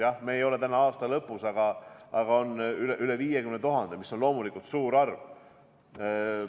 Jah, me ei ole küll veel aasta lõpus, aga praegu on töötuid üle 50 000, mis on loomulikult suur arv.